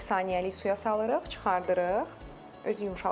Bir saniyəlik suya salırıq, çıxardırıq, özü yumşalacaq.